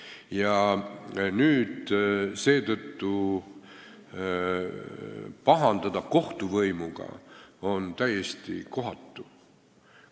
Ja nüüd seetõttu pahandada kohtuvõimuga on täiesti kohatu.